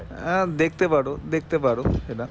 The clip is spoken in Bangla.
আহ দেখতে পারো দেখতে পারো